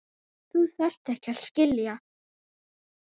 Þú þarft ekki að skilja.